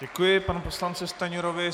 Děkuji panu poslanci Stanjurovi.